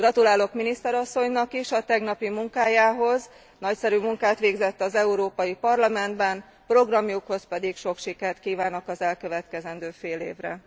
Gratulálok miniszter asszonynak is a tegnapi munkájához, nagyszerű munkát végzett az Európai Parlamentben, programjukhoz pedig sok sikert kívánok az elkövetkezendő fél évre.